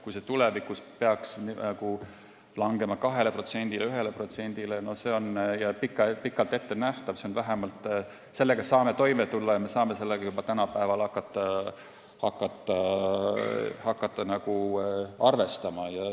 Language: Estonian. Kui see peaks tulevikus vähenema 2%-le või 1%-le, siis see on pikalt ette nähtav, me tuleme sellega toime ja võime juba praegu hakata sellega arvestama.